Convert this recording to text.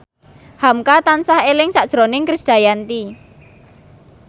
hamka tansah eling sakjroning Krisdayanti